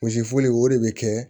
Misiforo o de bɛ kɛ